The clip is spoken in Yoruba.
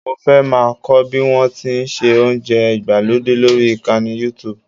Mo fẹ́ máa kọ́ bí wọ́n ti ń se oúnjẹ ìgbàlódé lórí ìkànnì Youtube